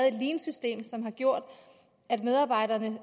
et leansystem som har gjort at medarbejderne